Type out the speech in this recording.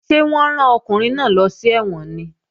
Ṣé wọ́n rán ọkùnrin náà lọ sí ẹ̀wọ̀n ni?